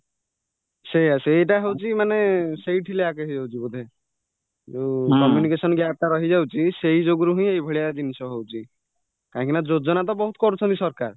ସେଇୟା ସେଇଟା ହଉଚି ମାନେ ସେଇଠି lack ହେଇଯାଉଛି ବୋଧେ ଯୋଉ communication gapଟା ରହିଯାଉଛି ସେଇ ଯୋଗୁ ରୁହିଁ ଏଇଜିନିଷ ହଉଚି କାହିଁକିନା ଯୋଜନା ବହୁତ କରୁଛନ୍ତି ସରକାର